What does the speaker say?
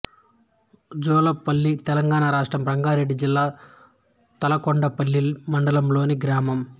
జూలపల్లి తెలంగాణ రాష్ట్రం రంగారెడ్డి జిల్లా తలకొండపల్లి మండలంలోని గ్రామం